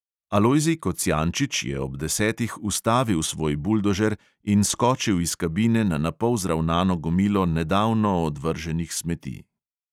Alojzij kocijančič je ob desetih ustavil svoj buldožer in skočil iz kabine na napol zravnano gomilo nedavno odvrženih smeti.